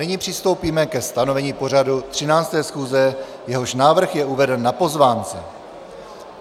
Nyní přistoupíme ke stanovení pořadu 13. schůze, jehož návrh je uveden na pozvánce.